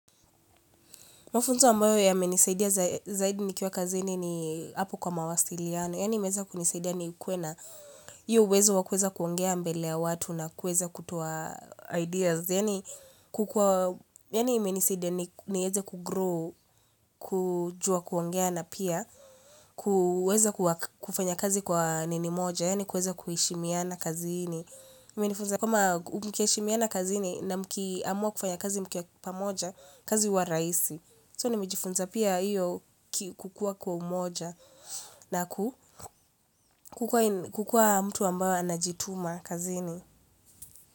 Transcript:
Mafunzo ambayo yamenisaidia zaidi nikiwa kazini ni hapo kwa mawasiliano. Yani imeweza kunisaidia nikuwe nahiyo uwezo wa kuweza kuongea mbele ya watu na kuweza kutoa ideas. Yani menisaidia niweze kugrow, kujua kuongea na pia kuweza kufanya kazi kwa nini moja. Yani kuweza kuheshimiana kazini. Kwa mkishimia na kazini na mkiamua kufanya kazi mkiwa pamoja, kazi huwa raisi. So ni nimejifunza pia hiyo kukuwa kwa umoja na kukuwa mtu ambaye anajituma kazini.